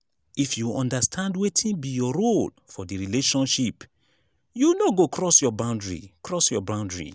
if you understand wetin be your role for di relationship you no go cross your boundary cross your boundary